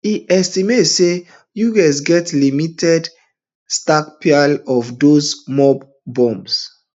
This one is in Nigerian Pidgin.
e estimate say us get limited stockpile of these mop bombs